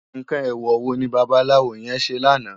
Nkán éwò wó ni bàbàláwó yèn sé làná?